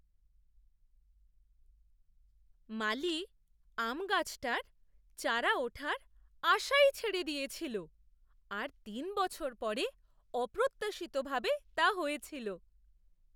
মালি আম গাছটার চারা ওঠার আশাই ছেড়ে দিয়েছিল, আর তিন বছর পরে অপ্রত্যাশিতভাবে তা হয়েছিল।